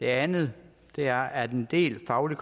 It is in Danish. andet er at en del fagligt